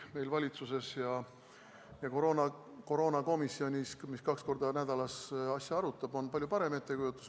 Meil valitsuses ja koroonakomisjonis, mis kaks korda nädalas asja arutab, on palju parem ettekujutus.